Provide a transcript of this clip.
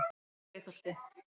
Breiðholti